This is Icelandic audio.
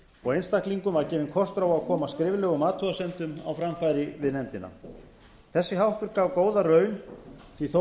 og einstaklingum var gefinn kostur á að koma skriflegum athugasemdum á framfæri við nefndina þessi háttur gaf góða raun því að þó